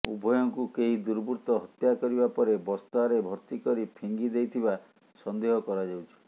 ଉଭୟଙ୍କୁ କେହି ଦୁର୍ବୃତ୍ତ ହତ୍ୟାକରିବା ପରେ ବସ୍ତାରେ ଭର୍ତ୍ତି କରି ଫିଙ୍ଗି ଦେଇଥିବା ସନ୍ଦେହ କରାଯାଉଛି